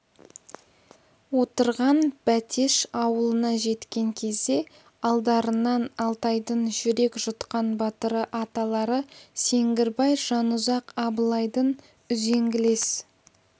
отырған бәтеш ауылына жеткен кезде алдарынан алтайдың жүрек жұтқан батыры аталары сеңгірбай жанұзақ абылайдың үзеңгілес